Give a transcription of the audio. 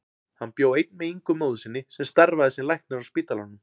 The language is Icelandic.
Hann bjó einn með Ingu móður sinni sem starfaði sem læknir á spítalanum.